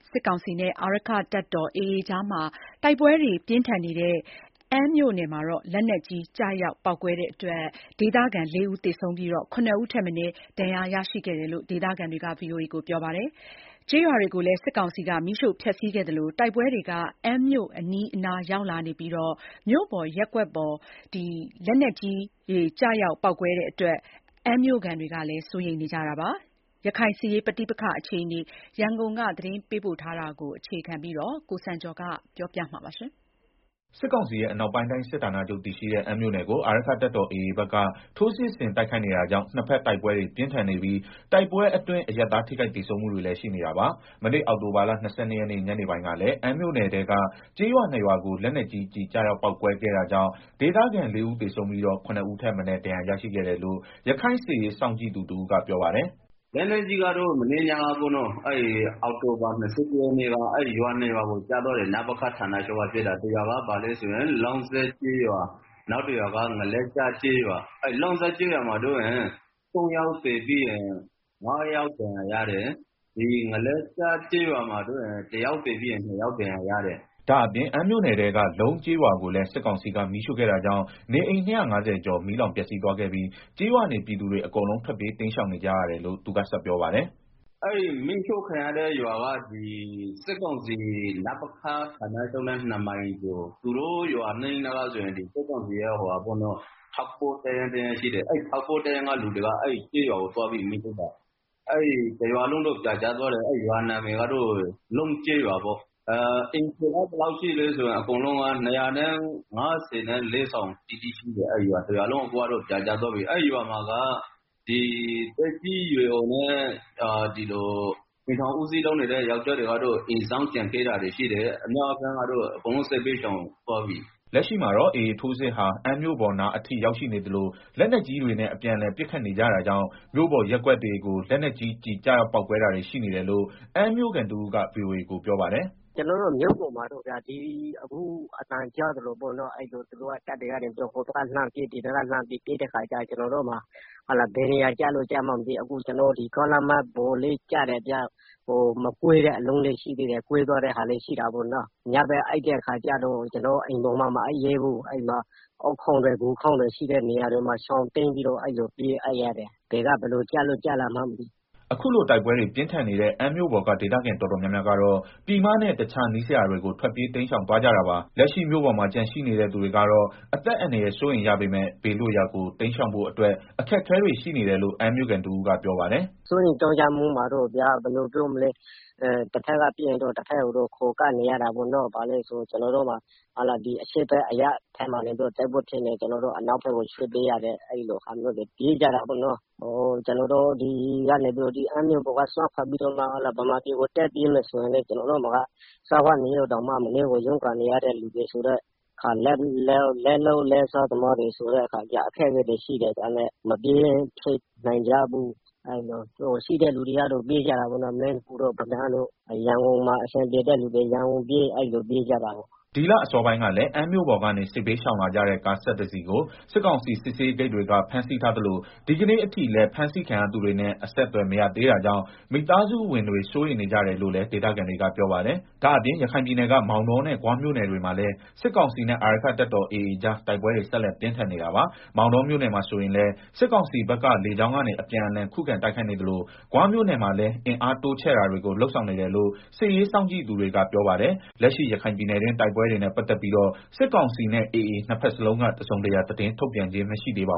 စစ်ကောင်စီနဲ့ အာရက္ခတပ်တော်AAကြား တိုက်ပွဲတွေ ပြင်းထန်နေတဲ့ အမ်းမြို့နယ်မှာ လက်နက်ကြီးကျရောက်ပေါက်ကွဲမှုတွေကြောင့် ဒေသခံ ၄ဦး သေဆုံးပြီးတော့ ၇ ဦးထက်မနည်း ဒဏ်ရာရရှိခဲ့တယ်လို့ ဒေသခံတွေက ပြောပါတယ်။ ကျေးရွာတွေကိုလည်း စစ်ကောင်စီက မီးရှို့ဖျက်ဆီးခဲ့သလို တိုက်ပွဲတွေက အမ်းမြို့အနီးအနား ရောက်လာနေပြီး မြို့ပေါ်ရပ်ကွက်ပေါ် လက်နက်ကြီးကျည်တွေ ကျရောက်ပေါက်ကွဲလို့ အမ်းမြို့ခံတွေ စိုးရိမ်နေကြပါတယ်။ ရခိုင်စစ်ရေးပဋိပက္ခအခြေအနေ ရန်ကုန်က သတင်းပေးပို့ထားပါတယ်။ စစ်ကောင်စီရဲ့ အနောက်ပိုင်းတိုင်းစစ်ဌာနချုပ်တည်ရှိတဲ့ အမ်းမြို့နယ်ကို အာရက္ခတပ်တော် AAဘက်က ထိုးစစ်ဆင်တိုက်ခိုက်နေတာကြောင့် နှစ်ဘက်တိုက်ပွဲတွေ ပြင်းထန်နေပြီး တိုက်ပွဲ အတွင်း အရပ်သားထိခိုက်သေဆုံးမှုတွေလည်းရှိနေတာပါ။ မနေ့အောက်တိုဘာလ ၂၂ရက်နေ့ ညနေပိုင်းကလည်း အမ်းမြို့နယ်အတွင်းက ကျေးရွာနှစ်ရွာကို လက်နက်ကြီးကျည် ကျရောက် ပေါက်ကွဲခဲ့တာကြောင့် ဒေသခံ ၄ဦးသေဆုံးပြီးတော့ ၇ ဦးထက်မနည်းဒဏ်ရာရရှိခဲ့တယ်လို့ ရခိုင်စစ်ရေးစောင့်ကြည့်သူတဦးကပြောပါတယ်။ “ လက်နက်ကြီးကတော့ မနေ့က ည အောက်တိုဘာ ၂၁ရက်နေ့က ရွာနှစ်ရွာကို ကျတာ နပခ ဌာနချုပ်ကနေပစ်တာ တရွာကတော့ လောင်းစပ်ကျေးရွာ၊ နောက်တရွာက ငလက်ကျ ကျေးရွာ။ လောင်းစပ်ကျေးရွာမှာတော့ ၃ယောက်သေပြီးတော့ ၅ယောက် ဒဏ်ရာရတယ်၊ ငလက်ကျကျေးရွာမှာတော့ ၁ယောက် သေပြီးတော့ နှစ်ယောက် ဒဏ်ရာရတယ်။” ဒါ့အပြင် အမ်းမြို့နယ်အတွင်းက လုံး ကျေးရွာကိုလည်း စစ်ကောင်စီက မီးရှို့ခဲ့တာကြောင့် နေအိမ် ၂၅ဝကျော် မီးလောင်ပျက်စီးသွားခဲ့ပြီး ကျေးရွာနေပြည်သူတွေ အကုန်လုံး ထွက်ပြေးတိမ်းရှောင်နေကြရတယ်လို့ သူကဆက်ပြောပါတယ်။ “ မီးရှို့ခံရတဲ့ ရွာက စစ်ကောင်စီ နပခနဲ့ ၂မိုင်ကျော်မှာရှိတယ်။ အဲရွာအနီးမှာ စစ်ကောင်စီရဲ့ ထောက်ပို့ တပ်ရင်းတရင်းရှိတယ်။ အဲထောက်ပို့တပ်ရင်းက လူတွေက သွားပြီးတော့ မီးရှို့တာ၊ တရွာလုံးပြာကျသွားတယ်။ ရွာနာမည်ကတော့ လုံးကျေးရွာပေါ့ အိမ်ခြေကတော့ အားလုံး ၂၅၄ ဆောင်ရှိတယ်အခုကတော့ တရွာလုံးပြာကျသွားပြီ။ အဲဒီရွာမှာ သက်ကြီးရွယ်အိုနဲ့ အိမ်ထောင်ဦးစီး ယောကျာ်းတွေ အိမ်စောင့်ကျန်ခဲ့တာရှိတယ်။ ကျန်တဲ့သူတွေကတော့ အကုန်လုံးစစ်ဘေးရှောင်သွားပြီ။” လက်ရှိမှာတော့ AAထိုးစစ်ဟာ အမ်းမြို့ပေါ်နားအထိ ရောက်ရှိနေသလို လက်နက်ကြီးတွေနဲ့ အပြန်အလှန်ပစ်ခတ်နေကြတာကြောင့် မြို့ပေါ်ရပ်ကွက်တွေကို လက်နက်ကြီးကျည် ကျရောက်ပေါက်ကွဲတာတွေ ရှိနေတယ်လို့ အမ်းမြို့ခံတဦးကဗွီအိုအေကို ပြောပါတယ်။ “ ကျနော်တို့ မြို့ပေါ်မှာတော့ အခုအသံကြားသလိုပဲ သူတို့တပ်တွေက ဟိုဘက်က လှမ်းပစ် ဒီဘက်က လှမ်းပစ်နဲ့ အဲလိုဆိုတော့ ကျနော်တို့မှာ ဘယ်နေရာကျလို့ ကျမှန်းလည်းမသိဘူး၊ အခုကျနော်တို့ ကားလမ်းမပေါ်လည်းကျတယ်ဗျ၊ မကွဲသေးတဲ့ အလုံးတွေလည်းရှိတယ်၊ ကွဲသွားတဲ့ ဟာလည်းရှိတာပေါ့နော်၊ ညဘက်အိပ်ရင်လည်း ကျနော်တို့ အိမ်ပေါ်မှာ မအိပ်ရဲ ဘူး၊အုပ်ခေါင်းတွေ ဂူခေါင်းတွေ ရှိတဲ့ နေရာရှာပြီးတော့ ပြေးအိပ်ရတယ်။ဘယ်က ဘယ်လို လာမယ်မှန်းမသိ။” အခုလို တိုက်ပွဲတွေ ပြင်းထန်နေတဲ့ အမ်းမြို့ပေါ်က ဒေသခံတော်တော်များများကတော့ ပြည်မနဲ့ တခြား နီးစပ်ရာတွေကို ထွက်ပြေးတိမ်းရှောင်သွားကြတာပါ။ လက်ရှိမြို့ပေါ် မှာကျန်ရှိနေတဲ့သူတွေကတော့ အသက်အန္တရာယ်စိုးရိမ်ရပေမယ့် ဘေးလွတ်ရာကို တိမ်းရှောင်ဖို့အတွက် အခက်အခဲတွေရှိနေတယ်လို့ အမ်းမြို့ခံတဦးကပြောပါတယ်။ “ စိုးရိမ်မှုကတော့ ဗျာ တဘက်က ပစ်ရင်တော့ တဘက်ကို ခိုကပ်နေကြတာပေါ့။ အရှေ့ ဘက်အရပ်မှာ တိုက်ပွဲ ဖြစ်နေတယ်ဆိုရင် အနောက်ဘက်ကို ရွှေ့ပြီးတော့နေတယ်။ အဲလိုမျိုးပြေးကြတာပေါ့နော်။ အမ်းမြို့က စွန့်ခွာပြီးတော့ ဗမာပြည်ကို ပြေးမယ်ဆိုရင်လည်း ကျနော်တို့မှာက စားဝတ်နေရေးကိုတောင်မှ မနည်းရုန်းကန်နေရတယ်ဆိုတော့ လက်လုပ် လက်စားသမားတွေဆိုတော့ အခက်အခဲတွေရှိတယ်။ မပြေးနိုင်ကြဘူး၊ ရှိတဲ့သူတွေကတော့ ပြေးကြတာပေါ့နော် မင်းဖူးတို့ ပဒန်းတို့ ရန်ကုန်မှာ အဆင်ပြေတဲ့သူတွေ ရန်ကုန်ပြေး အဲလိုပြေးကြတာပေါ့။” ဒီလအစောပိုင်းကလည်း အမ်းမြို့ပေါ်ကနေ စစ်ဘေးရှောင်လာကြတဲ့ ကား ၁၁တစီးကို စစ်ကောင်စီစစ်ရေးဂိတ်တွေက ဖမ်းဆီးထားသလို ဒီကနေ့အထိလည်း ဖမ်းဆီးခံရသူတွေနဲ့အဆက်အသွယ်မရ သေးတာကြောင့် မိသားစုဝင်တွေစိုးရိမ်နေကြတယ်လည်း ဒေသခံတွေကပြောပါတယ်။ ဒါ့အပြင် ရခိုင်ပြည်နယ်က မောင်တောနဲ့ ဂွမြို့နယ်တွေမှာလည်း စစ်ကောင်စီနဲ့ အာရက္ခတပ် တော်AAကြား တိုက်ပွဲတွေဆက်လက်ပြင်းထန်နေတာပါ။ မောင်တောမြို့နယ်မှာဆိုရင်လည်း စစ်ကောင်စီဘက်က လေကြောင်းကနေ အပြင်းအထန်ခုခံတိုက်ခိုက်နေသလို ဂွမြို့နယ်မှာ လည်း အင်အားတိုးချဲ့တာတွေကို လုပ်ဆောင်နေတယ်လို့ စစ်ရေးစောင့်ကြည့် သူတွေ ကပြောပါတယ်။ လက်ရှိရခိုင်ပြည်နယ်တွင်း တိုက်ပွဲတွေနဲ့ ပတ်သတ်ပြီးတော့ စစ်ကောင်စီနဲ့ AAနှစ်ဘက်စလုံးက တစုံတရာသတင်းထုတ်ပြန်ခြင်းမရှိသေးပါ